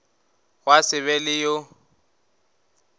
gwa se be le yo